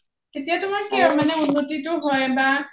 তেতিয়াটো তোমাৰ কি আৰু উন্নতি টো হয় বা